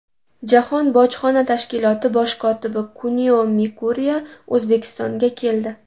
Jahon bojxona tashkiloti bosh kotibi Kunio Mikuriya O‘zbekistonga keldi.